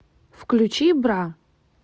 включи бра